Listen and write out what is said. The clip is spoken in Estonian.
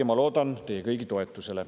Ja ma loodan teie kõigi toetusele.